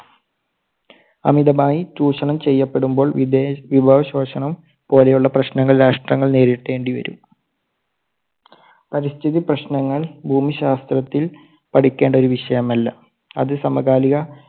അമിതമായി ചൂഷണം ചെയ്യപ്പെടുമ്പോൾ വിഭേ~വിഭവശോഷണം പോലെയുള്ള പ്രശ്നങ്ങൾ രാഷ്ട്രങ്ങൾ നേരിടേണ്ടി വരും. പരിസ്ഥിതി പ്രശ്നങ്ങൾ ഭൂമിശാസ്ത്രത്തിൽ പഠിക്കേണ്ട ഒരു വിഷയമല്ല, അത് സമകാലിക